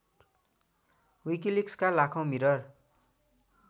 विकिलिक्सका लाखौँ मिरर